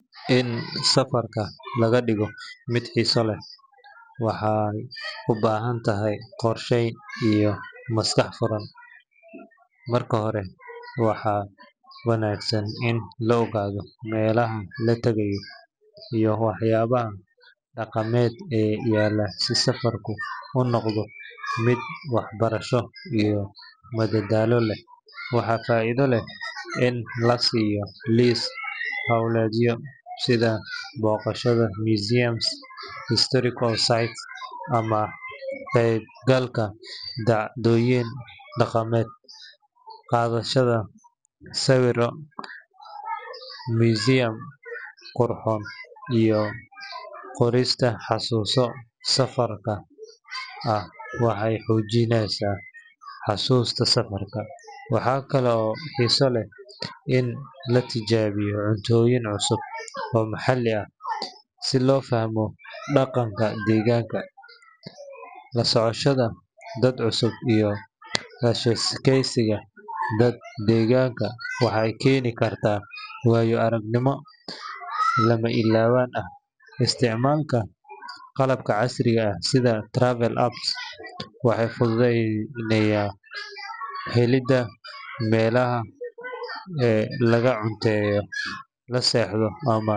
In safar laga dhigo mid xiiso leh waxay u baahan tahay qorsheyn iyo maskax furnaan. Marka hore, waxaa wanaagsan in la ogaado meelaha la tagayo iyo waxyaabaha dhaqameed ee yaalla si safarku u noqdo mid waxbarasho iyo madadaalo leh. Waxaa faa’iido leh in la sameeyo liis hawleedyo sida booqashada museums, historical sites, ama ka qaybgalka dhacdooyin dhaqameed. Qaadashada sawirro qurxoon iyo qorista xasuuso safarka ah waxay xoojiyaan xusuusta safarka. Waxa kale oo xiiso leh in la tijaabiyo cuntooyin cusub oo maxalli ah si loo fahmo dhaqanka deegaanka. La socoshada dad cusub iyo la sheekaysiga dadka deegaanka waxay keeni kartaa waayo-aragnimo lama illaawaan ah. Isticmaalka qalabka casriga ah sida travel apps waxay fududeeyaan helidda meelaha laga cunteeyo, la seexdo, ama.